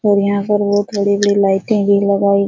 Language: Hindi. और यहाँ पर बहुत बड़ी-बड़ी लाइटें भी लगाई --